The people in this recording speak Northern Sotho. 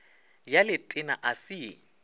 ya letena a se ye